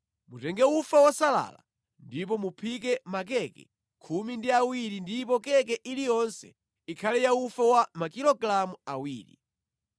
“Mutenge ufa wosalala ndipo muphike makeke khumi ndi awiri ndipo keke iliyonse ikhale ya ufa wa makilogalamu awiri.